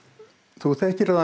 þú þekkir það